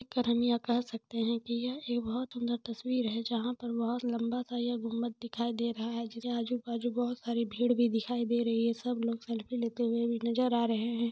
क्या हम यह कह सकते है की यह एक बहोत सुंदर तस्वीर है जहाँ पर बहोत लम्बा सा यह गुंबद दिखाई दे रहा है आजू-बाजु बहोत सारी भीड़ भी दिखाई दे रही है सब लोग सेल्फी लेते हुए भी नजर भी नजर आ रहे है।